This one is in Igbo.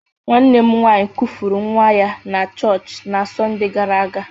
Nwanne m nwanyi nkufuru nwa ya na choochi na Sonde gara aga.